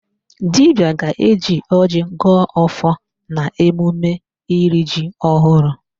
Dibịa ga-eji ọjị gọọ ọfọ n'emume iri ji ọhụrụ